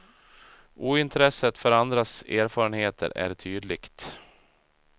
Ointresset för andras erfarenheter är tydligt.